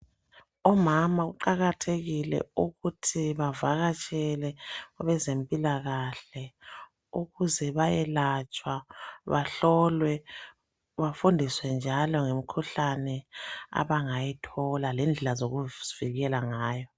Omama kuqakathekile ukuthi bavakatshele abezempilakahle ukuze bayelatshwa bahlolwe bafundiswe njalo ngemikhuhlane abangayithola lendlela zokuzivikela ngayo.